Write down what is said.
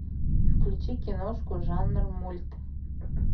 включи киношку жанр мульт